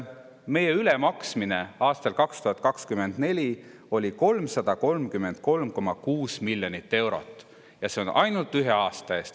Me maksime aastal 2024 rohkem 333,6 miljonit eurot, ja see on ainult ühe aasta eest.